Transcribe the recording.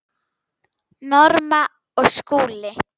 Norma og Skúli.